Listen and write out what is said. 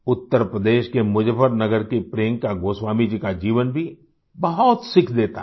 उत्तर प्रदेश के मुजफ्फरनगर की प्रियंका गोस्वामी जी का जीवन भी बहुत सीख देता है